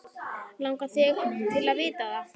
Langar þig til að vita það?